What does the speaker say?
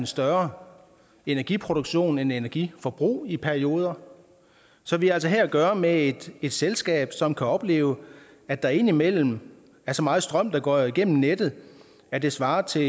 større energiproduktion end energiforbrug i perioder så vi har altså her at gøre med et selskab som kan opleve at der indimellem er så meget strøm der går igennem nettet at det svarer til